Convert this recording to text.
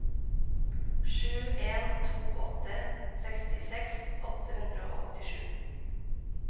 sju en to åtte sekstiseks åtte hundre og åttisju